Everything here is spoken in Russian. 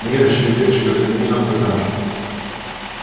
миррочка деточка загляни завтра к нам